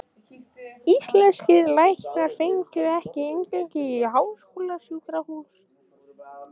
Íslenskir læknar fengju ekki inngöngu í háskólasjúkrahús